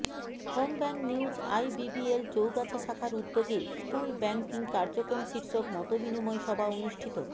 home bank news IBBL Chougachha শাখার উদ্যোগে school banking কার্যক্রম শীর্ষক মত বিনিময় সভা অনুষ্ঠিত